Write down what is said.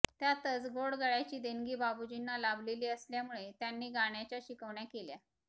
त्यातच गोड गळ्याची देणगी बाबूजींना लाभलेली असल्यामुळे त्यांनी गाण्याच्या शिकवण्या केल्या